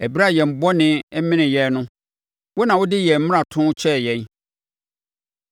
Ɛberɛ a yɛn bɔne menee yɛn no, wo na wɔde yɛn mmaratoɔ kyɛɛ yɛn.